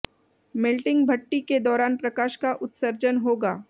melting भट्ठी के दौरान प्रकाश का उत्सर्जन होगा